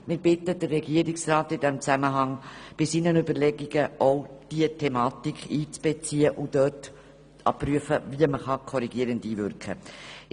Wir bitten den Regierungsrat in diesem Zusammenhang bei seinen Überlegungen auch diese Thematik einzubeziehen und zu prüfen, wie korrigierend eingewirkt werden kann.